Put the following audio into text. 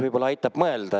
Võib-olla aitab mõelda.